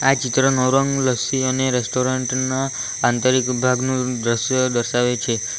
આ ચિત્ર નવરંગ લસ્સી અને રેસ્ટોરન્ટ ના આંતરિક વિભાગનું દ્રશ્ય દર્શાવે છે.